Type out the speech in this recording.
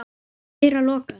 Þeirra lokað.